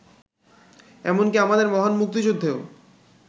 এমনকি আমাদের মহান মুক্তিযুদ্ধেও